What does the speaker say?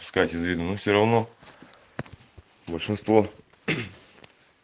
с катей видно ну все равно большинство